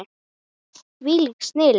Þvílík snilld.